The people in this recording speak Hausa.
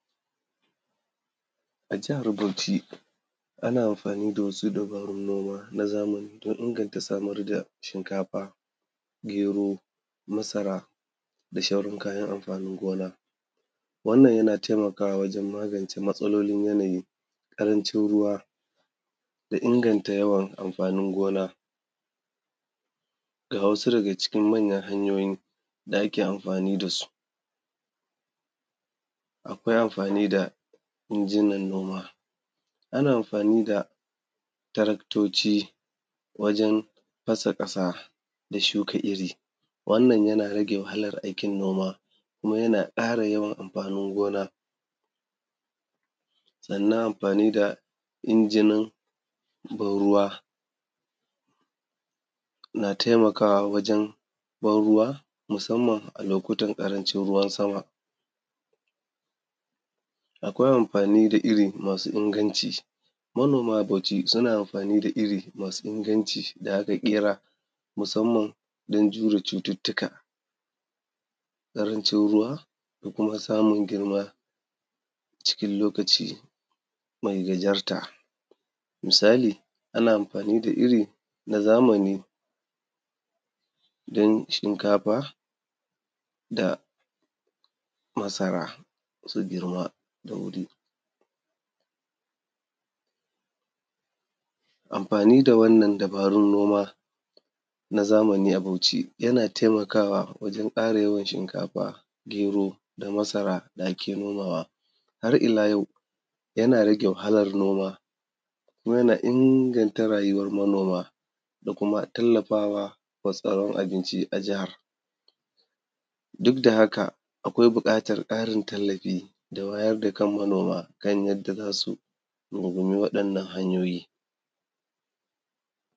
A jihar Bauchi ana amfani da wasu dabarun noma na zamani don inganta samar da shinkafa, gero masara da sHauran kayan amfanin gona. Wannan yana taimakawa wajen magance matsalolin yanayi, ƙarancin ruwa da inganta yawan amfanin gona. Ga wasu daga cikin manyan hanyoyi da ake amfani da su: akwai amfani da injinan noma, ana amfani da taraktoci wajen fasa ƙasa da shuka iri. Wannan yana rage wahalar aikin noma kuma yana ƙara yawan amfanin gona. Sannan amfani da injinan ban-ruwa na taimakawa wajen ban-ruwa, musamman a lokutan ƙarancin ruwan sama. Akwai amfani da iri masu inganci. Manoma a Bauchi suna amfani da iri masu inganci da aka ƙera musamman don jure cututtuka, ƙarancin ruwa da kuma samun girma cikin lokaci mai gajarta. Misali, ana amfani da iri na zamani don shinkafa da masara su girma da wuri. Amfani da wannan dabarun noma na zamani a Bauchi yana taimakawa wajen ƙara yawan shinkafa, gero da masara da ake nomawa. Har ila yau, yana rage wahalar noma kuma yana inganta rayuwar manoma da kuma tallafa wa sauran abinci a jihar. Duk da haka akwai buƙatar ƙarin tallafi da wayar da kan manoma manoma kan yanda za su rungumi waɗannan hanyoyi.